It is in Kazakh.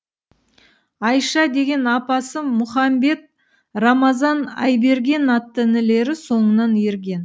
айша деген апасы мұхамбет рамазан айберген атты інілері соңынан ерген